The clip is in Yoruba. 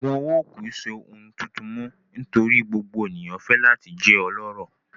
Oogun owo kii ṣe ohun tuntun mọ nitori gbogbo eniyan fẹ lati jẹ ọlọrọ